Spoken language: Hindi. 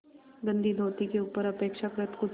गंदी धोती के ऊपर अपेक्षाकृत कुछ